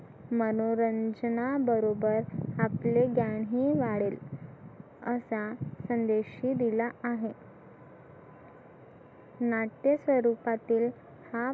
मनोरंजना बरोबर आपलं ज्ञानही वाढेल असा संदेशही दिला आहे नाट्य स्वरूपातील हा